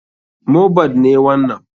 Mohbad ne wanan.